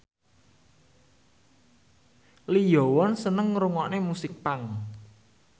Lee Yo Won seneng ngrungokne musik punk